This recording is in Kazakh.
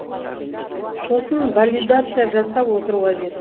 сосын валидация жасап отыру қажет